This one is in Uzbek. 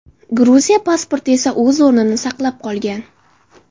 Gruziya pasporti esa o‘z o‘rnini saqlab qolgan.